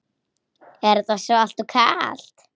Er þetta svalt og kalt?